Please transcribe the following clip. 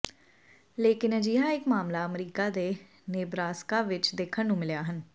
ਲੇਕਿਨ ਅਜਿਹਾ ਇੱਕ ਮਾਮਲਾ ਅਮੇਰਕਾ ਦੇ ਨੇਬਰਾਸਕਾ ਵਿੱਚ ਦੇਖਣ ਨੂੰ ਮਿਲਿਆ ਹਨ